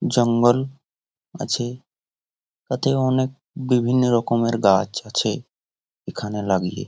জঙ্গল আছে | তাতে অনেক বিভিন্ন রকমের গাছ আছে এখানে লাগিয়ে।